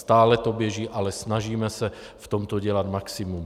Stále to běží, ale snažíme se v tom dělat maximum.